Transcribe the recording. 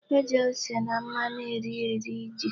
E ji ose na mmanu nri eri ji.